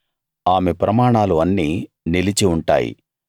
ఆమె ప్రమాణాలు అన్నీ నిలిచి ఉంటాయి